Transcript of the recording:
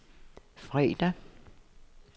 fredag